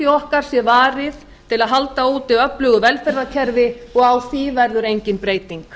okkar sé varið til að halda úti öflugu velferðarkerfi og á því verður engin breyting